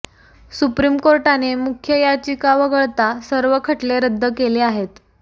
supreme कोर्टाने मुख्य याचिका वगळता सर्व खटले रद्द केले आहेत